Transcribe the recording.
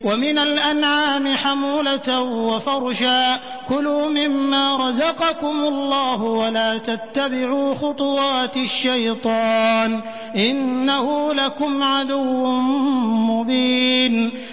وَمِنَ الْأَنْعَامِ حَمُولَةً وَفَرْشًا ۚ كُلُوا مِمَّا رَزَقَكُمُ اللَّهُ وَلَا تَتَّبِعُوا خُطُوَاتِ الشَّيْطَانِ ۚ إِنَّهُ لَكُمْ عَدُوٌّ مُّبِينٌ